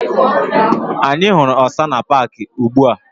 Anyị hụrụ ọsa na paaki ubi ahụ.